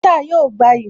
Bọ́ọ́tà yóò gbayì